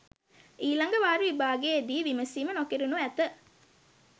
ඊළඟ වාර විභාගයේ දී විමසීම නොකෙරෙනු ඇත.